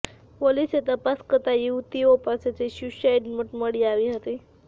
પોલીસે તપાસ કરતા યુવતીઓ પાસેથી સ્યુસાઈડ નોટ મળી આવી હતી